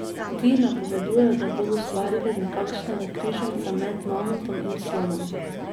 Ti napovedujejo, da bodo ustvarili nekakšnega križanca med mamutom in slonom.